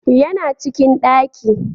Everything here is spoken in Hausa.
Yana cikin daki